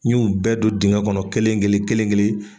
N ɲu bɛɛ don dingɛn kɔnɔ kelen- kelen- kelen-kelen.